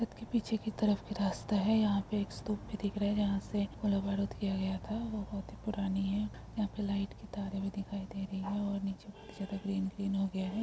सड़क के पीछे की तरफ की रास्ता है यहाँ पे एक स्तूप भी दिख रहे हैं जहाँ से गोला-बारूद किया गया था वो बहुत ही पुरानी है यहाँ पे लाइट की तारे भी दिखाई दे रही है और नीचे बहुत ही ज्यादा ग्रीन - ग्रीन हो गया है।